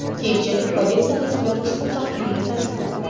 Keyinchalik politsiya vakillari ushbu taxminni tasdiqladi.